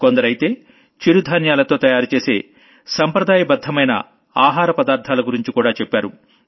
కొందరైతే మిల్లెట్స్ తో తయారు చేసే సంప్రదాయబద్ధమైన ఆహార పదార్ధాల గురించి కూడా చెప్పారు